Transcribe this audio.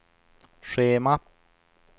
schema